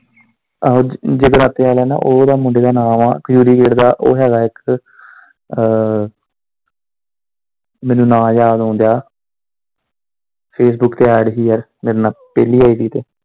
ਆਹੋ ਜਗਰਾਤੇ ਆਲਿਆ ਨਾਲ, ਉਹ ਉਦਾ ਮੁੰਡੇ ਦਾ ਨਾਂ ਵਾ ਖਜੂਰੀਗੇਟ ਦਾ ਉਹ ਹੈਗਾ ਇੱਕ ਅ ਮੈਨੂੰ ਨਾਮ ਯਾਦ ਆਉਣ ਦਿਆਂ facebook ਤੇ add ਹੀ ਯਾਰ ਮੇਰੇ ਨਾਲ ਪਹਿਲੀ id ਤੇ।